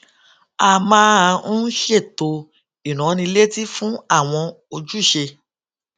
a máa ń ṣètò ìránnilétí fún àwọn ojúṣe